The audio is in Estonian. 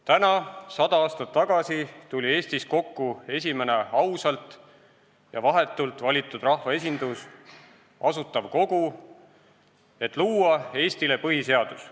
Täna 100 aastat tagasi tuli Eestis kokku esimene ausalt ja vahetult valitud rahvaesindus – Asutav Kogu, et luua Eestile põhiseadus.